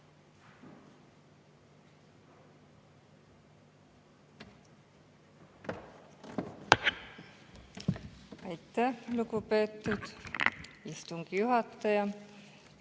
Aitäh, lugupeetud istungi juhataja!